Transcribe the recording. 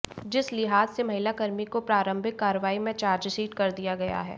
जिस लिहाज से महिला कर्मी को प्रारंभिक कार्रवाई में चार्जशीट कर दिया गया है